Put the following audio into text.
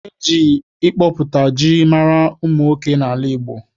E ji ịkọpụta ji mara ụmụ nwoke n'ala Igbo